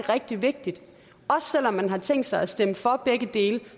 rigtig vigtigt og selv om man har tænkt sig at stemme for begge dele